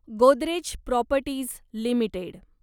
Godrej properties limited